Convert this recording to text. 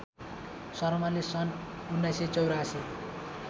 शर्माले सन् १९८४